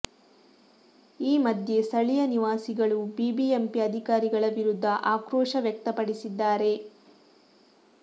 ಈ ಮಧ್ಯೆ ಸ್ಥಳೀಯ ನಿವಾಸಿಗಳು ಬಿಬಿಎಂಪಿ ಅಧಿಕಾರಿಗಳ ವಿರುದ್ಧ ಆಕ್ರೋಶ ವ್ಯಕ್ತಪಡಿಸಿದ್ದಾರೆ